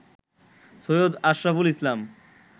Syed Ashraful Islam